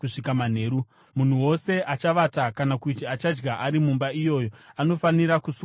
Munhu wose achavata kana kuti achadya ari mumba iyoyo anofanira kusuka nguo dzake.